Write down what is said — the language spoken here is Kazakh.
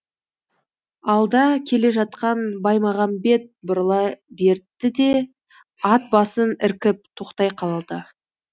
алда келе жатқан баймағамбет бұрыла берді де ат басын іркіп тоқтай қалды